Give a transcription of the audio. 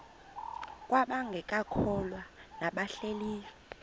kwabangekakholwa nabahlehli leyo